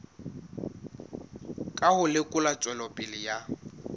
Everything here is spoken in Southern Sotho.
ka ho lekola tswelopele ya